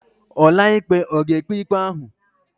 Ọkàikpe ọ̀ ga-ekpe ikpe ahụ?